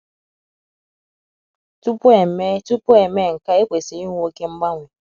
Tupu e mee Tupu e mee nke a, ekwesiri ịnwe oké mgbanwe.